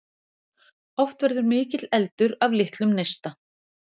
Oft verður mikill eldur af litlum neista.